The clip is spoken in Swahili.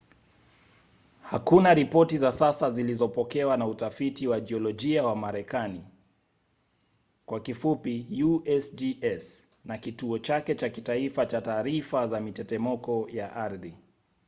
hakuna ripoti za sasa zilizopokewa na utafiti wa jiolojia wa marekani usgs na kituo chake cha kitaifa cha taarifa za mitetemeko ya ardhi